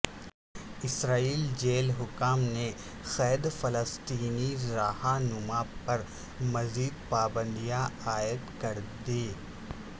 اسرائیلی jail حکام نے قید فلسطینی رہ نما پر مزید پابندیاں عاید کردیں